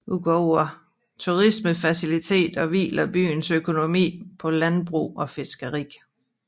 Udover turismefaciliteter hviler byens økonomi på landbrug og fiskeri